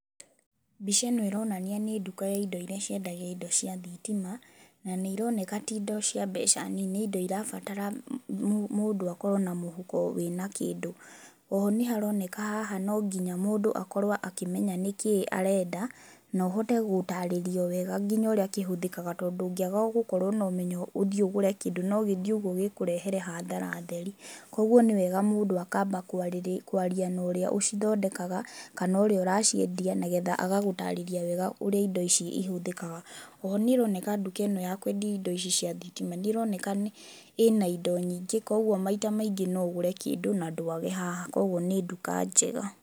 Mbica ĩno ĩronania nĩ nduka ya indo iria ciendagia indo cia thitima na nĩironeka ti indo cia mbeca nini nĩ indo irabatara mũndũ akorwo na mũhuko wĩna kĩndũ. Oho nĩharoneka haha nonginya mũndũ akorwo akĩmenya nĩkĩĩ arenda nohote gũtarĩrio wega nginya ũrĩa kĩhũthĩkaga tondũ ũngĩaga gũkorwo nomenyo ũthiĩ ũgũre kĩndũ no gĩthiĩ ũguo gĩkũrehere hathara theri, koguo nĩwega mũndũ akamba kwaria norĩa ũcithondekaga kana ũrĩa ũraciendia nĩgetha agagũtarĩria wega ũrĩa indo ici cihũthĩkaga, oho nĩĩroneka nduka ĩno ya kwendia indo cia thitima nĩĩroneka ĩĩna indo nyiingĩ koguo maita maingĩ noũgũre kĩndũ na ndwage haha, koguo nĩ nduka njega.